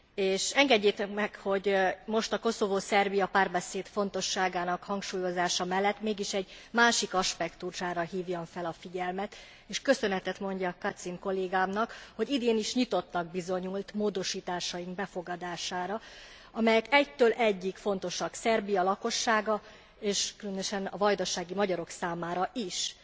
És engedjétek meg, hogy most a Koszovó Szerbia párbeszéd fontosságának hangsúlyozása mellett mégis egy másik aspektusára hívjam fel a figyelmet, és köszönetet mondjak Kacin kollégámnak, hogy idén is nyitottnak bizonyult módosításaink befogadására, amelyek egytől egyig fontosak Szerbia lakossága, és különösen a vajdasági magyarok számára is.